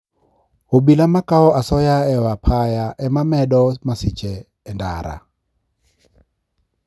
Obila makao asoya e apaya e ma medo masiche e ndara